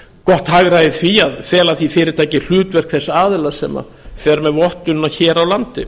gott hagræði í því að fela því fyrirtæki hlutverk þess aðila sem fer með vottunina hér á landi